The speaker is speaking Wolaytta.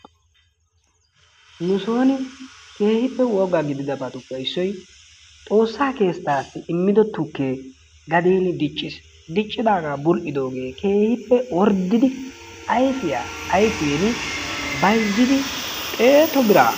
Nu soni keehippe woga gididabatuppe issoy xoossaa keettaassi immido tukke gadeeni diccis diccidaga bul'idoogee keehippe orddidi ayffiya ayfiini bayzzidi xeetu biraaa..